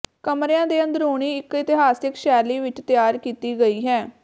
ਕਮਰਿਆਂ ਦੇ ਅੰਦਰੂਨੀ ਇਕ ਇਤਿਹਾਸਿਕ ਸ਼ੈਲੀ ਵਿਚ ਤਿਆਰ ਕੀਤੀ ਗਈ ਹੈ